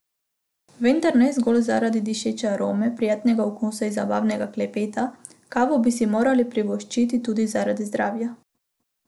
Vendar ne zgolj zaradi dišeče arome, prijetnega okusa in zabavnega klepeta, kavo bi si morali privoščiti tudi zaradi zdravja.